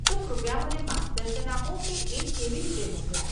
તો કૃપયા મને માર્ગદર્શન આપો કે એ કેવી રીતે મોકલાય?